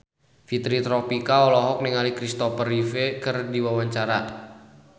Fitri Tropika olohok ningali Kristopher Reeve keur diwawancara